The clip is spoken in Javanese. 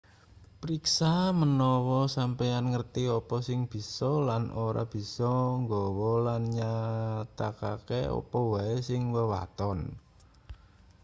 priksa manawa sampeyan ngerti apa sing bisa lan ora bisa nggawa lan nyatakake apa wae ing wewaton